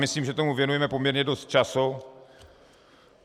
Myslím, že tomu věnujeme poměrně dost času.